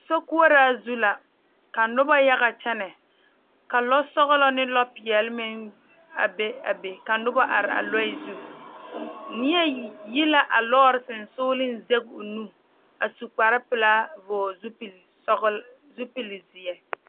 Sokoɔraa su la ka noba yaga kyɛnɛ ka lɔ sɔgelɔ ne lɔ peɛle meŋ be a be ka noba are a lɔɛ zu neɛ yi la alɔɔre sonsoŋlensege o nu a su kpar pelaa vɔgele zupili sɔglaa zupili zeɛ